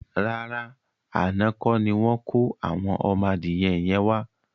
Rárá, àná kọ́ni wọn kò àwọn ọmọ adìyẹ yẹn wá.